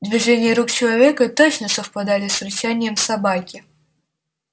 движения рук человека точно совпадали с рычанием собаки